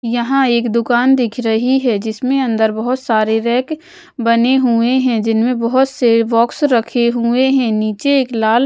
यहां एक दुकान दिख रही है जिसमें अंदर बहोत सारी रैक बने हुए हैं जिनमें बहोत से बॉक्स रखे हुए हैं नीचे एक लाल--